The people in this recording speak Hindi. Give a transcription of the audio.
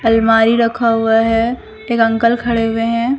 अलमारी रखा हुआ है एक अंकल खड़े हुए हैं।